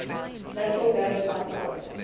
natural gas pipeline